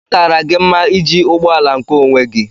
Ọ Kara gị mma iji ụgbọ ala nkeonwe gi?